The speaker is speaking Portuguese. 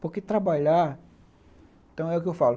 Porque trabalhar... Então, é o que eu falo.